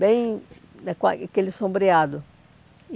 bem... aquele sombreado.